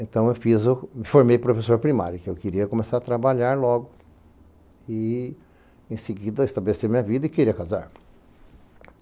Então, eu fiz formei professor primário, porque eu queria começar a trabalhar logo e, em seguida, estabelecer minha vida e queria casar.